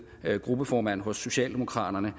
gruppeformand hos socialdemokraterne